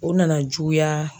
O nana juguya.